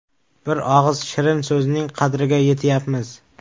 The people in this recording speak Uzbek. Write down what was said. Bir og‘iz shirin so‘zning qadriga yetyapmiz.